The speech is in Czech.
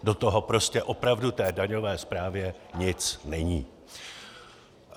Do toho prostě opravdu té daňové správě nic není!